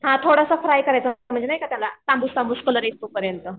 हां थोडा फ्राय करायचा त्याला म्हणजे नाही का तांबूस तांबूस कलर येईस्तोपर्यंत.